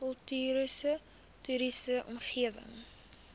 kultuurhis toriese omgewing